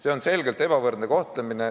See on selgelt ebavõrdne kohtlemine.